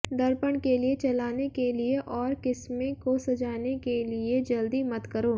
दर्पण के लिए चलाने के लिए और किस्में को सजाने के लिए जल्दी मत करो